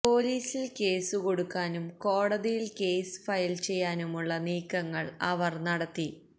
പൊലീസിൽ കേസു കൊടുക്കാനും കോടതിയിൽ കേസ് ഫയൽ ചെയ്യാനുമുള്ള നീക്കങ്ങൾ അവർ നടത്തി